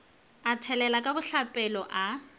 a thelela ka bohlapelong a